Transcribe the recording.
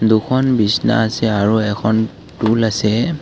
দুখন বিছনা আছে আৰু এখন টোল আছে।